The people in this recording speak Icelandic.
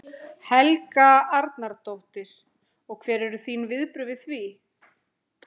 Helga Arnardóttir: Og hver eru þín viðbrögð við því?